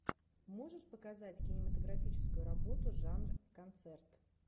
можешь показать кинематографическую работу жанр концерт